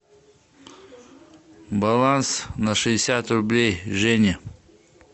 баланс на шестьдесят рублей жене